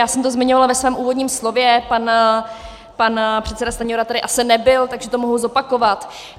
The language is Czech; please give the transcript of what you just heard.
Já jsem to zmiňovala ve svém úvodním slově, pan předseda Stanjura tady asi nebyl, takže to mohu zopakovat.